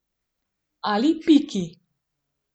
Ali piki.